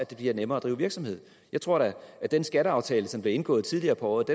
det bliver nemmere at drive virksomhed jeg tror da at den skatteaftale som blev indgået tidligere på året